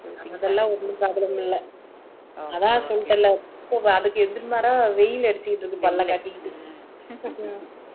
அதெல்லாம் ஒண்ணும் problem இல்ல அதான் சொல்லிட்டேன் இல்ல அதுக்கு எதிர்மாறா வெயில் அடிச்சிகிட்டு இருக்கு பல்ல காட்டிகிட்டு